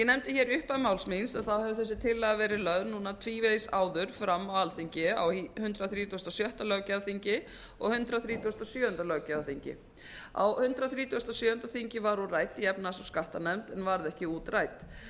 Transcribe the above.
hér í upphafi máls míns hefur þessi tillaga verið lögð launa tvívegis áður fram á alþingi á hundrað þrítugasta og sjötta löggjafarþingi og hundrað þrítugasta og sjöunda löggjafarþingi á hundrað þrítugasta og sjöunda þingi var hún rædd í efnahags og skattanefnd en varð ekki útrædd